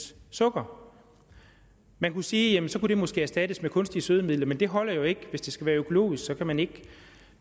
sukker og man kunne sige at sukkeret måske kunne erstattes med kunstige sødemidler men det holder jo ikke hvis det skal være økologisk kan man ikke